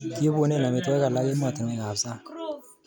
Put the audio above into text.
Kiibune amitwogik alak emotinwekab sang